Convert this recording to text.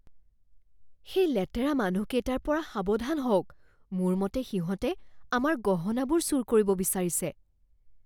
সেই লেতেৰা মানুহকেইটাৰ পৰা সাৱধান হওক। মোৰ মতে সিহঁতে আমাৰ গহনাবোৰ চুৰ কৰিব বিচাৰিছে।